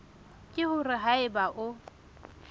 ke hore ha eba o